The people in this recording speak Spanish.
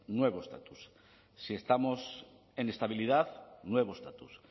nuevo estatus si estamos en estabilidad nuevo estatus